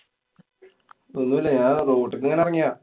ഒന്നുല്ലാ. ഞാന്‍ റോട്ടില്ക്കിങ്ങനെ എറങ്ങ്യെതാ.